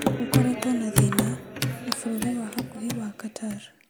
"Gũ koretwe na thĩna na bũrũri ya bakuhi ya Qatar